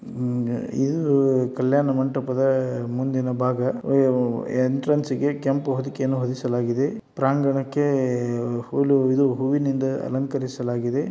ಇದು ಕಲ್ಯಾಣ ಮಂಟಪದ ಮುಂದಿನ ಭಾಗ. ಉಹ್ ಎಂಟ್ರೆನ್ಸ್ ಗೆ ಕೆಂಪು ಹೊದಿಕೆಯನ್ನು ಹೊದಿಸಲಾಗಿದೆ. ಪ್ರಾಂಗಣಕ್ಕೆ ಹುಳು ಇದು ಹೂವಿನಿಂದ ಅಲಂಕರಿಸಲಾಗಿದೆ.